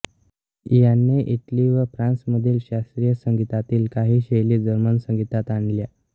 याने इटली व फ्रांसमधील शास्त्रीय संगीतातील काही शैली जर्मन संगीतात आणल्या